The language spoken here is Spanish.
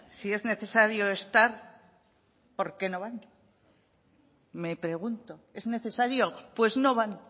si es necesario estar por qué no van me pregunto es necesario pues no van